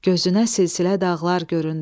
Gözünə silsilə dağlar göründü.